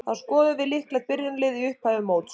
Þá skoðum við líklegt byrjunarlið í upphafi móts.